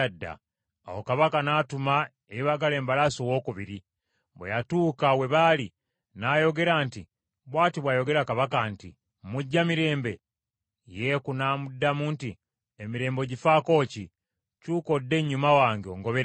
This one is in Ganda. Awo kabaka n’atuma eyeebagala embalaasi owookubiri. Bwe yatuuka we baali, n’ayogera nti, “Bw’ati bw’ayogera kabaka nti, ‘Mujja mirembe?’ ” Yeeku n’amuddamu nti, “Emirembe ogifaako ki? Kyuka odde ennyuma wange ongoberere.”